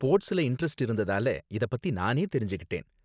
ஸ்போர்ட்ஸ்ல இண்டரெஸ்ட் இருந்ததால இத பத்தி நானே தெரிஞ்சுக்கிட்டேன்